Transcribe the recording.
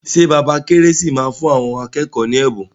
Ṣé bàbá Kérésì máa fún àwọn akẹ́kọ̀ọ́ ní ẹ̀bùn.